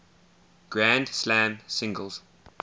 grand slam singles